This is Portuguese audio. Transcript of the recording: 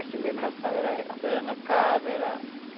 A celebração era era na casa era.